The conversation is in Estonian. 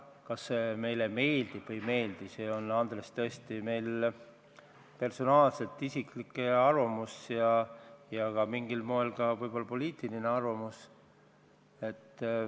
Kas see meile meeldib või mitte, see on, Andres, meil tõesti personaalne, isiklik arvamus ja mingil moel võib-olla ka poliitiline arvamus.